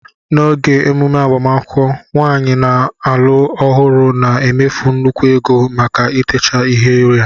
N'oge emume agbamakwụkwọ, nwaanyị a na-alụ ọhụrụ na-emefu nnukwu ego maka itecha ihu ya